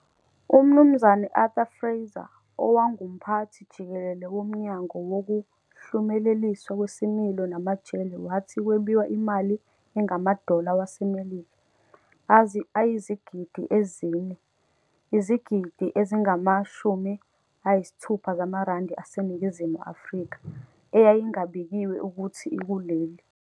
UMnumzane Arthur Fraser, owangumphathi-jikelele womnyango wokuhlumeleliswa kwesimilo namajele wathi kwebiwa imali engamadola waseMelika ayizigidi ezi-4, izigidi ezingama-60 zamarandi aseNingizimu afrika, eyayingabikiwe ukuthi ikuleli.